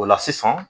O la sisan